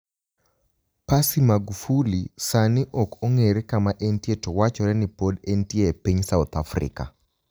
Passy Magufuli Saanii ok onig'ere kama enitie to wachore nii pod enitie e piniy South Africa.